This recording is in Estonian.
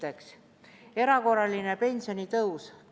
Esiteks, erakorraline pensionitõus.